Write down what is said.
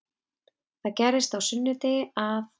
Það gerðist á sunnudegi að